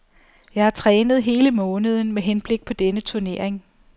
Jeg har trænet hele måneden med henblik på denne turnering.